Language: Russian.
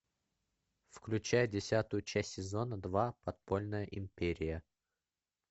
включай десятую часть сезона два подпольная империя